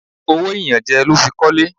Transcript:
Owó ìyànjẹ ló fi kọ́lé.